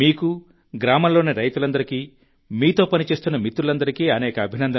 మీకు గ్రామంలోని రైతులందరికీ మీతో పని చేస్తున్న మిత్రులందరికీ అనేక అభినందనలు